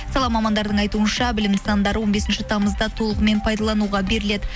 сала мамандардың айтуынша білім нысандары он бесінші тамызда толығымен пайдалануға беріледі